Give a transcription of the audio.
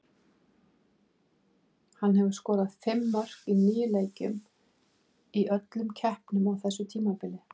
Hann hefur skorað fimm mörk í níu leikjum í öllum keppnum á þessu tímabili.